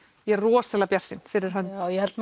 ég er rosalega bjartsýn fyrir hönd já ég held